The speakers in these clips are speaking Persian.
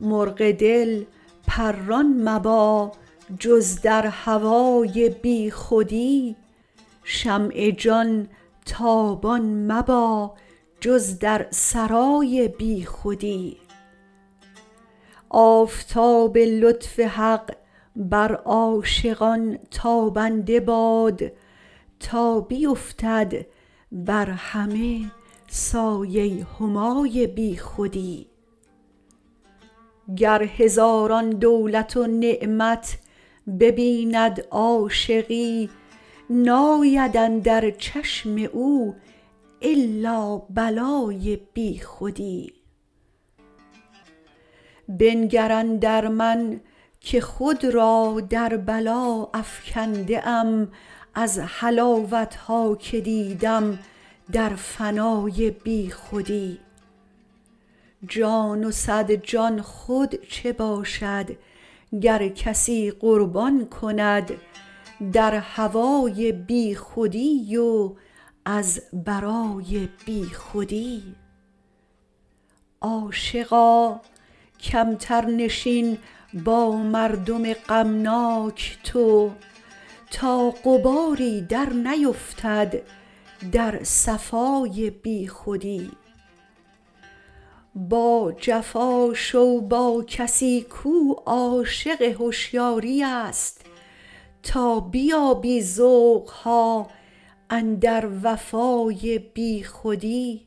مرغ دل پران مبا جز در هوای بیخودی شمع جان تابان مبا جز در سرای بیخودی آفتاب لطف حق بر عاشقان تابنده باد تا بیفتد بر همه سایه همای بیخودی گر هزاران دولت و نعمت ببیند عاشقی ناید اندر چشم او الا بلای بیخودی بنگر اندر من که خود را در بلا افکنده ام از حلاوت ها که دیدم در فنای بیخودی جان و صد جان خود چه باشد گر کسی قربان کند در هوای بیخودی و از برای بیخودی عاشقا کمتر نشین با مردم غمناک تو تا غباری درنیفتد در صفای بیخودی باجفا شو با کسی کو عاشق هشیاری است تا بیابی ذوق ها اندر وفای بیخودی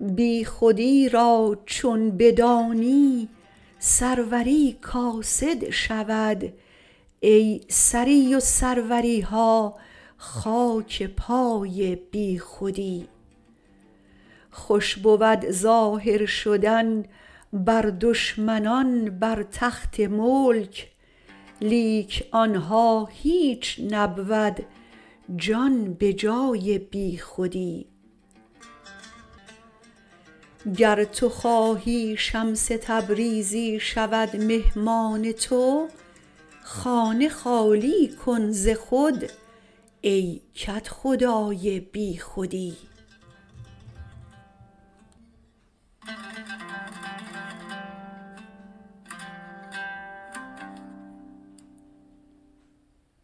بیخودی را چون بدانی سروری کاسد شود ای سری و سروری ها خاک پای بیخودی خوش بود ظاهر شدن بر دشمنان بر تخت ملک لیک آن ها هیچ نبود جان به جای بیخودی گر تو خواهی شمس تبریزی شود مهمان تو خانه خالی کن ز خود ای کدخدای بیخودی